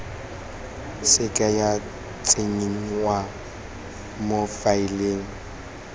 seke ya tsenngwa mo faeleng